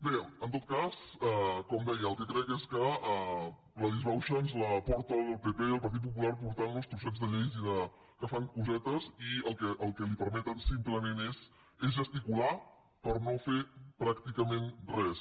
bé en tot cas com deia el que crec és que la disbauxa ens la porta el pp el partit popular portant nos trossets de lleis i fent cosetes que el que li permeten simplement és gesticular per no fer pràcticament res